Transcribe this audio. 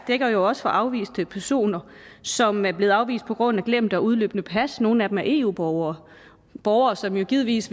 er jo også for afviste personer som er blevet afvist på grund af glemte og udløbne pas nogle af dem er eu borgere borgere som jo givetvis